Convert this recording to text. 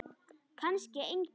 Kannski engu.